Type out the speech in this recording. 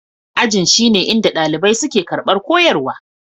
Ajin shine inda ɗalibai suke karɓar koyarwa.